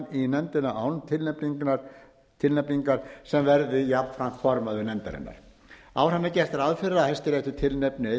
í nefndina án tilnefningar sem verði jafnframt formaður nefndarinnar áfram er gert ráð fyrir að hæstiréttur tilnefni einn mann